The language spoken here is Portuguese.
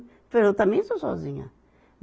Então eu também sou sozinha.